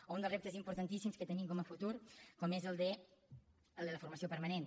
o un dels reptes importantíssims que tenim com a futur com és el de la formació permanent